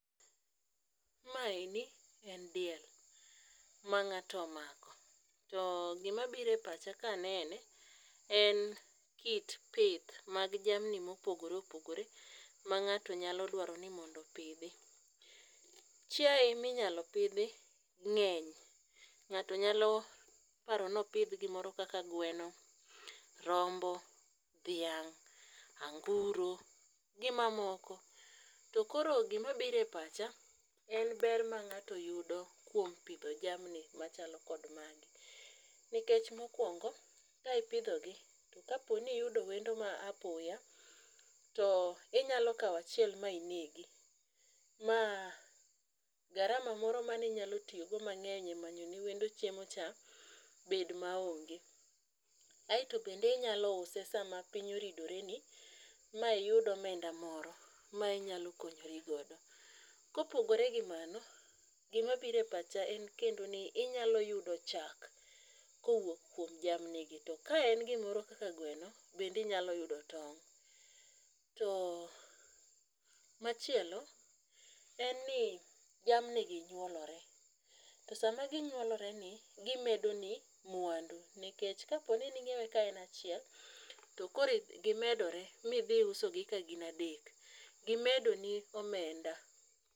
Maeni en diel, ma nga'to omako, to gimabiro e pacha kanene en kit pith mag jamni mopogore opogore mang'ato nyalo dwaro ni mondo opidhi. chiaye minyalo pidhi ng'eny, ng'ato nyalo paro ni opidh gimoro kaka gweno, rombo ,dhiang',anguro gi mamoko. to koro gimabiro e pacha en ber ma ng'ato yudo kuom pidho jamni machalo kod magi. Nikech mokwongo ka ipidhogi to kapo ni iyudo wendo ma apoya, to inyalo kawo achiel ma inegi ma gharama moro maninyalo tiyogo mang'eny e manyo ne wendo chiemocha bed maonge. Aeto bende inyalo use sama piny oridore ni ma iyud omenda moro ma inyalo konyori godo. Kopogore gi mano, gimabiro e paha en kendo ni inyalo yudo chak kowuok kuom jamnigi to ke en gimoro kaka gweno, bende inyalo yudo tong'. To machielo, en ni jamnigi nyuolore, to sama ginyuoloreni gimedoni mwandu nikech kapo ni ning'iewe ka en achiel to koro gimedore midhi usogi ka gin adek, gimedoni omenda.